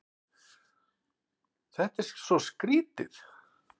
Þetta er svo skrýtið.